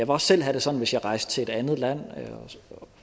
også selv have det sådan hvis jeg rejste til et andet land og